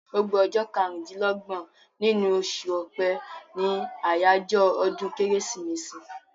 Gbogbo ọjọ́ karùn-dín-lọ́gbọ̀n nínú oṣù ọpẹ́ ní àjọyọ̀ ọdún kérésìmesì